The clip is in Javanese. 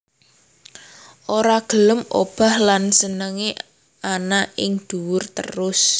Ora gelem obah lan senengé ana ing duwur terus